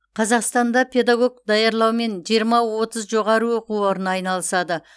қазақстанда педагог даярлаумен жиырма отыз жоғары оқу орны айналысады